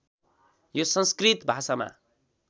यो संस्कृत भाषामा